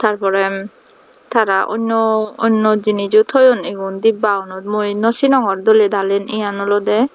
tar pore tara onno jinich ow thoyun igun dibba gunot mui no sinongor dole dalen iyan olodey.